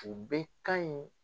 U bɛ kan in.